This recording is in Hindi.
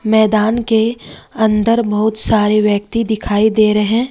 मैदान के अंदर बहुत सारे व्यक्ति दिखाई दे रहे--